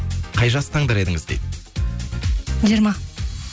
қай жасты таңдар едіңіз дейді жиырма